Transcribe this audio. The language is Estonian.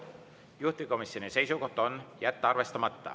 Juhtivkomisjoni seisukoht on jätta see arvestamata.